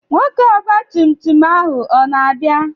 Nwoke ọgba tum tum ahụ o na-abịa?